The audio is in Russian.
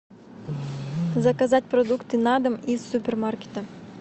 заказать продукты на дом из супермаркета